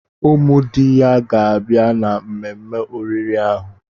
Ụmụ di ya ga-abịa na mmemme oriri ahụ.